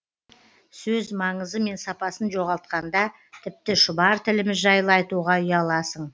сөз маңызы мен сапасын жоғалтқанда тіпті шұбар тіліміз жайлы айтуға ұяласың